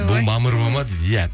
бұл мамырова ма дейді иә